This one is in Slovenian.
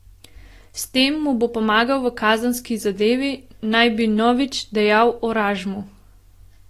S tem mu bo pomagal v kazenski zadevi, naj bi Novič dejal Oražmu.